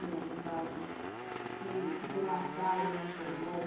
Algum caso que ficou marcado na sua memória?